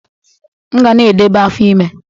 M ga na-edebe afọ ime.